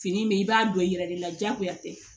Fini in bɛ i b'a don i yɛrɛ de la diyagoya tɛ